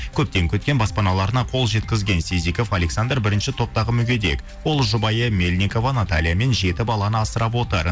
көптен күткен баспаналарына қол жеткізген сизеков александр бірінші топтағы мүгедек ол жұбайы мельникова натальямен жеті баланы асырап отыр